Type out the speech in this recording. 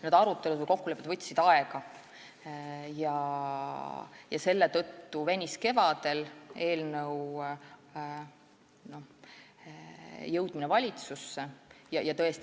Need arutelud ja kokkulepped võtsid aega ja seetõttu eelnõu jõudmine valitsusse kevadel venis.